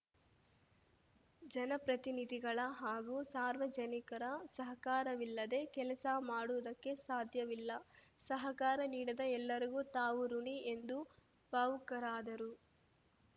ಜನಪ್ರತಿನಿಧಿಗಳ ಹಾಗೂ ಸಾರ್ವಜನಿಕರ ಸಹಕಾರವಿಲ್ಲದೇ ಕೆಲಸ ಮಾಡುವುದಕ್ಕೆ ಸಾಧ್ಯವಿಲ್ಲ ಸಹಕಾರ ನೀಡದ ಎಲ್ಲರಿಗೂ ತಾವು ಋುಣಿ ಎಂದು ಭಾವುಕರಾದರು